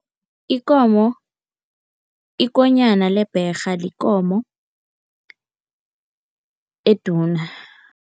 Ikomo, ikonyana lebherha yikomo eduna.